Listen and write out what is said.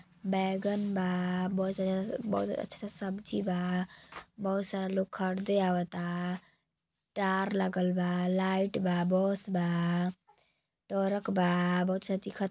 बैगन बा। बहुत अच्छा अच्छा सब्जी बा। बहुत सारा लोग खरदे आवता। टार लागल बा लाइट बा बस बा टरक बा। बहुत सा दिखत --